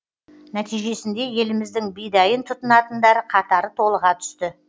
нәтижесінде еліміздің бидайын тұтынатындар қатары толыға түсті